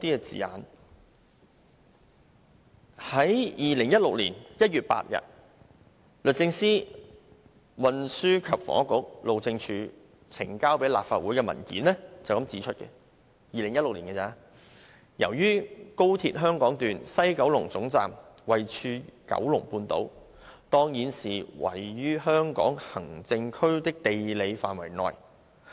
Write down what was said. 在2016年1月8日，律政司、運輸及房屋局和路政署呈交立法會的文件指出，由於高鐵香港段西九龍總站位處九龍半島，當然是位於香港行政區的地理範圍內。